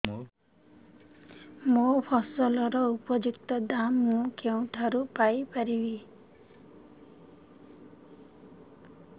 ମୋ ଫସଲର ଉପଯୁକ୍ତ ଦାମ୍ ମୁଁ କେଉଁଠାରୁ ପାଇ ପାରିବି